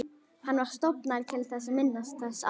Hann var stofnaður til að minnast þess að